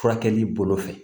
Furakɛli bolo fɛ